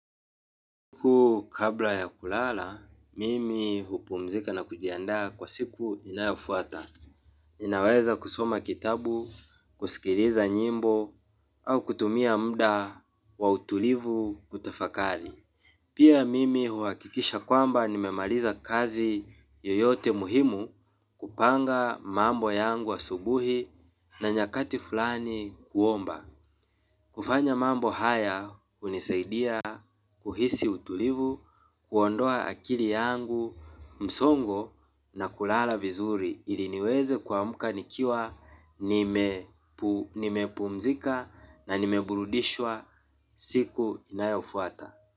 Siku kabla ya kulala, mimi hupumzika na kujiandaa kwa siku inayofuata. Ninaweza kusoma kitabu, kusikiliza nyimbo, au kutumia mda wa utulivu kutafakari. Pia mimi huakikisha kwamba nimemaliza kazi yoyote muhimu kupanga mambo yangu asubuhi na nyakati fulani kuomba. Kufanya mambo haya unisaidia, kuhisi utulivu, kuondoa akili yangu msongo na kulala vizuri ili niweze kuamka nikiwa nimepumzika na nimeburudishwa siku inayofuata.